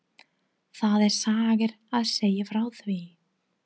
Það er saga að segja frá því.